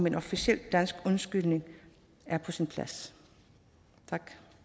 en officiel dansk undskyldning er på sin plads